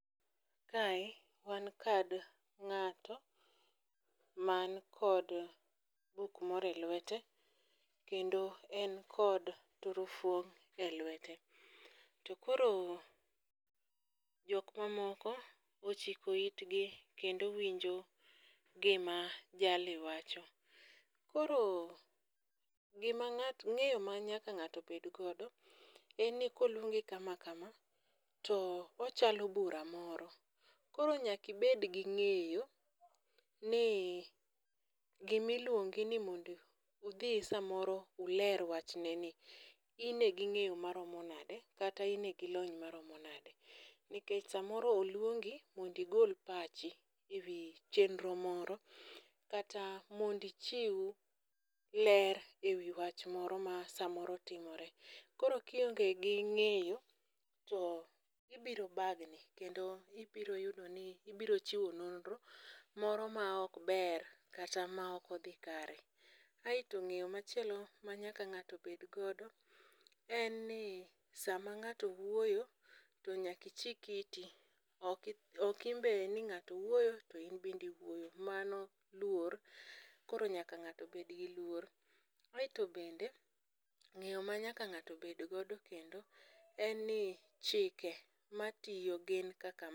Kae, wan kod ng'ato man kod buk moro e lwete kendo en kod turufuong' e lwete. To koro, jok mamoko ochiko itgi kendo winjo gima jali wacho. Koro gima ng'at, ng'eyo ma nyaka ng'ato nyaka bedgodo, en ni koluongi kama kama , to ochalo bura moro. Koro nyaka ibed gi ng'eyo ni gima iluongi ni mondo udhi samoro uler wachneni, in e gi ng'eyo maromo nade kata ine gi lony maromo nade. Nikech samoro oluongi mondo igol pachi e wii chienro moro, kata mondo ichiw ler e wii wach moro ma samoro timore. Koro ka ionge gi ng'eyo, to ibiro bagni kendo ibiro yudo ni ibiro chiwo nonro moro ma ok ber kata ma ok odhi kare .Aito ng'eyo machielo ma nyaka ng'ato bedgodo en ni sama ng'ato wuoyo, to nyaka ichik iti, okinbe ni ng'ato wuoyo to inbende iwuoyo, mano luor, koro nyaka ng'ato bed gi luor. Aito bende ng'eyo ma nyaka ng'ato bedgodo kendo en ni, chike matiyo gin kaka.